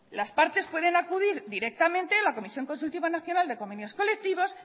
las partes pueden acudir directamente a la comisión consultiva nacional de convenios colectivos